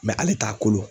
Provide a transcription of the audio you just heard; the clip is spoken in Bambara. ale t'a kolo